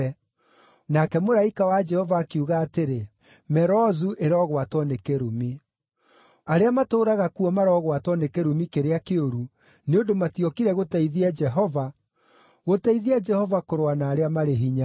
Nake mũraika wa Jehova akiuga atĩrĩ, ‘Merozu ĩrogwatwo nĩ kĩrumi. Arĩa matũũraga kuo marogwatwo nĩ kĩrumi kĩrĩa kĩũru, nĩ ũndũ matiokire gũteithia Jehova, gũteithia Jehova kũrũa na arĩa marĩ hinya.’